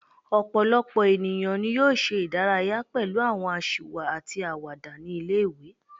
Ọ̀pọ̀lọpọ̀ ènìyàn ni yóò ṣe ìdárayá pẹlu àwọn aṣiwa àti àwàdà ní ilé-ìwé